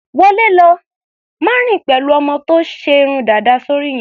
Wọlé lọ! Má rìn pẹ̀lú ọmọ tó ṣe irun dàda sóri yẹn.